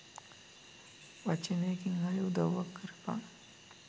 වචනෙකින් හරි උදව්වක් කරපන්